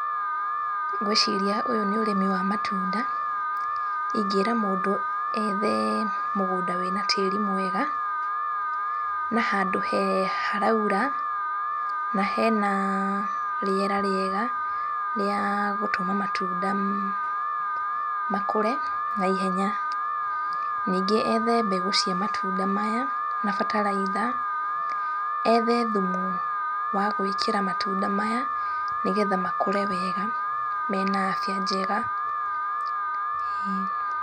Ngwĩciria ũyũ nĩ ũrĩmi wa matunda. Ingĩra mũndũ ethe mũgũnda wĩna tĩri mwega na handũ haraura na hena rĩera rĩega rĩa gũtũma matunda makũre naihenya. Ningĩ ethe mbegũ cia matunda maya na bataraitha, ethe thumu wa gwĩkĩra matunda maya nĩgetha makũre wega mena abia njega. Ĩĩ.